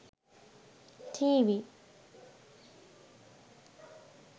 tv